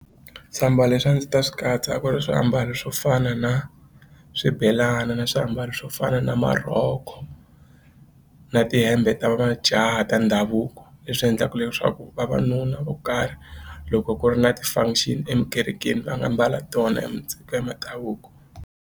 Swiambalo leswi a ndzi ta swi katsa ku ri swiambalo swo fana na swibelani na swiambalo swo fana na marhoko na tihembe ta majaha ta ndhavuko leswi endlaka leswaku vavanuna vo karhi loko ku ri na ti-function etikerekeni va nga mbala tona ya mindhavuko.